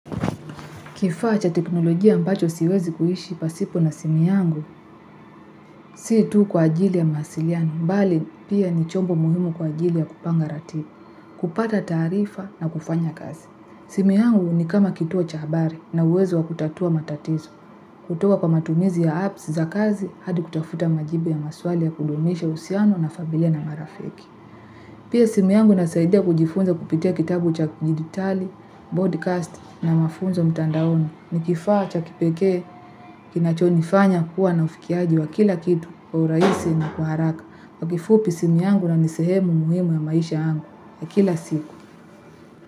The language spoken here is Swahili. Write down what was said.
Kifaa cha teknolojia ambacho siwezi kuishi pasipo na simu yangu, si tu kwa ajili ya mawasiliano, bali pia ni chombo muhimu kwa ajili ya kupanga ratibu, kupata taarifa na kufanya kazi. Simu yangu ni kama kituo cha habari na uwezo wa kutatua matatizo. Kutoka kwa matumizi ya apps za kazi, hadi kutafuta majibu ya maswali ya kudumisha uhusiano na familia na marafiki. Pia simu yangu inasaidia kujifunza kupitia kitabu cha dijitali, broadcast na mafunzo mtandaoni ni kifaa cha kipekee kinachonifanya kuwa na ufikiaji wa kila kitu kwa uraisi na kwa haraka. Kwa kifupi simu yangu na ni sehemu muhimu ya maisha yangu ya kila siku.